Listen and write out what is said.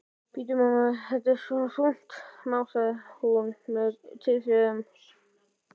Bíddu, mamma, þetta er svo þungt, másaði hún með tilþrifum.